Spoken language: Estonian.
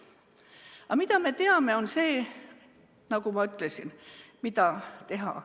Aga mida me teame, on see – nagu ma ütlesin –, mida teha.